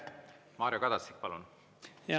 Mario Kadastik, palun!